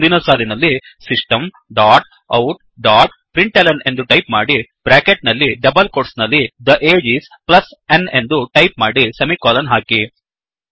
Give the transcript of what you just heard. ಮುಂದಿನ ಸಾಲಿನಲ್ಲಿ system dot out dot println ಎಂದು ಟೈಪ್ ಮಾಡಿ ಬ್ರ್ಯಾಕೆಟ್ ನಲ್ಲಿ ಡಬಲ್ ಕೋಟ್ಸ್ ನಲ್ಲಿ the age is plus n ಎಂದು ಟೈಪ್ ಮಾಡಿ ಸೆಮಿಕೋಲನ್ ಹಾಕಿ